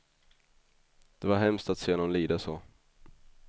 Det var hemskt att se honom lida så.